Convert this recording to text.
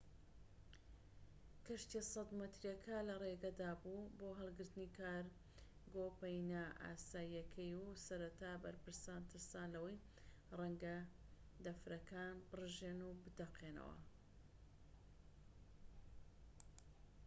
کەشتیە 100 مەتریەکە لە ڕێگەدا بوو بۆ هەڵگرتنی کارگۆ پەینە ئاساییەکەی و سەرەتا بەرپرسان ترسان لەوەی ڕەنگە دەفرەکان بڕژێن و بتەقێتەوە